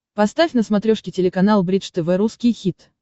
поставь на смотрешке телеканал бридж тв русский хит